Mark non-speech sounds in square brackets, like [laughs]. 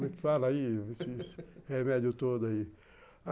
Fala aí, [laughs] esse remédio todo aí [laughs]